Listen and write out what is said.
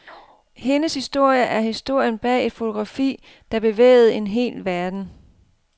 Hendes historie er historien bag et fotografi, der bevægede en hel verden.